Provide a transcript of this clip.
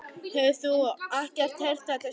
Hefur þú ekki heyrt þetta sjálf?